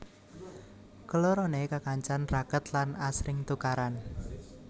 Kelorone kekancan raket lan asring tukaran